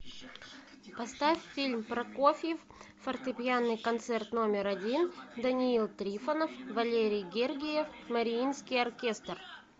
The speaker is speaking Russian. поставь фильм прокофьев фортепианный концерт номер один даниил трифонов валерий гергиев мариинский оркестр